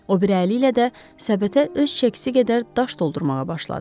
O biri əli ilə də səbətə öz çəkisi qədər daş doldurmağa başladı.